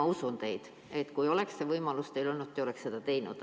Ma usun teid, et kui teil oleks see võimalus olnud, te oleks seda teinud.